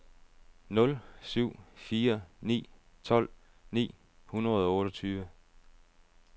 nul syv fire ni tolv ni hundrede og otteogtyve